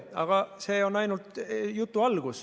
Aga see on ainult jutu algus.